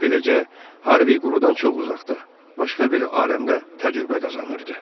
Beləcə, Harvey qurudan çox uzaqda, başqa bir aləmdə təcrübə qazanırdı.